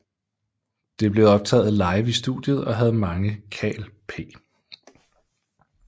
Det blev optaget live i studiet og havde mange Kal P